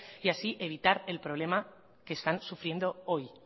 y así evitar el problema que están sufriendo hoy